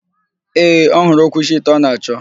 Ee, ọhụrụ okwuchi ite ọ na-achọ.